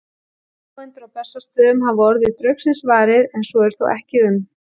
Ábúendur á Bessastöðum hafa orðið draugsins varir, en svo er þó ekki um